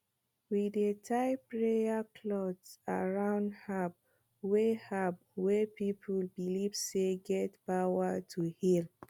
we dey tie prayer cloth around herbs wey herbs wey people believe say get power to heal